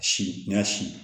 Si n y'a sin